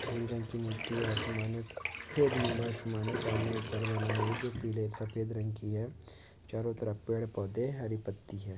भूरी रंग की मिट्टी है आसमान है सफेद नीला आसमान है। सामने एक घर बना है जो पीले सफेद रंग की है। चारों तरफ पेड़ पौधे हैं हरी पत्ती है।